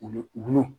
Wulu wulu